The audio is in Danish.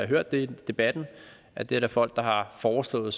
hørt det i debatten at det er der folk som har foreslået